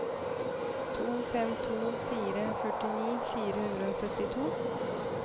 to fem to fire førtini fire hundre og syttito